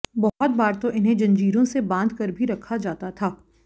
बहुत बार तो इन्हें जंजीरों से बांध कर भी रखा जाता था